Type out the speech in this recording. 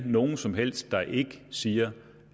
nogen som helst der ikke siger